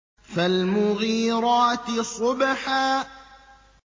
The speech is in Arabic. فَالْمُغِيرَاتِ صُبْحًا